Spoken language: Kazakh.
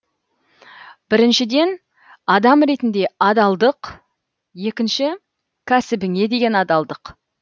біріншіден адам ретінде адалдық екінші кәсібіңе деген адалдық